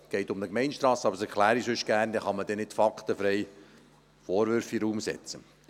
Es geht um eine Gemeindestrasse, aber das erkläre ich sonst gerne, damit man nicht faktenfrei Vorwürfe in den Raum stellen kann.